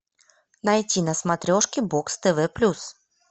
найти на смотрешке бокс тв плюс